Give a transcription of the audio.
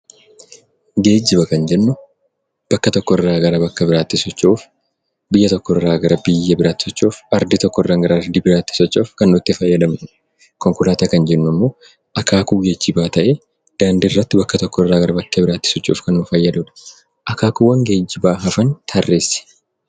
Geejjiba kan jennu bakka tokkorraa gara bakka biraatti socho'uuf, biyya tokkorraa gara biyya biraatti socho'uuf, ardii tokkoorraa gara ardii biraatti socho'uuf kan nu itti fayyadamnudha. Konkolaataa kan jennummoo akaakuu geejjibaa ta'ee daandiirratti bakka tokkorraa gara bakkee biraatti socho'uuf kan nu fayyadudha. Akaakuuwwan geejjibaa hafan tarreessi!